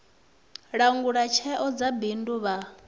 langula tsheo dza bindu vha